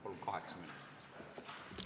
Palun kaheksa minutit!